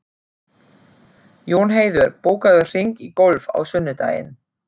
Jónheiður, bókaðu hring í golf á sunnudaginn.